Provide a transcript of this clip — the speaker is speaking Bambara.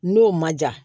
N'o ma ja